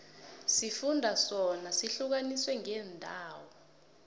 isifunda sona sihlukaniswe ngeendawo